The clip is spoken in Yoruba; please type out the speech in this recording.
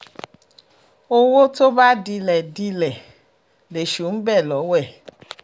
owó tó bá dilẹ̀ dilẹ̀ lèṣù ń bẹ lọ́wẹ́